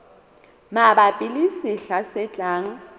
mabapi le sehla se tlang